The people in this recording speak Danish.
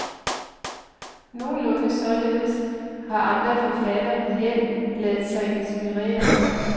Nogenlunde således har andre forfattere med held ladet sig inspirere.